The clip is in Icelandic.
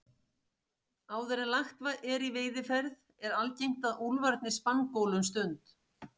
Áður en lagt er í veiðiferð er algengt að úlfarnir spangóli um stund.